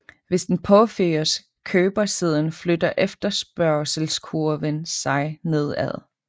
Hvis den påføres købersiden flytter efterspørgselskurven sig nedad